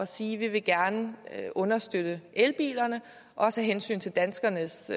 sige at vi gerne vil understøtte elbilerne også af hensyn til danskernes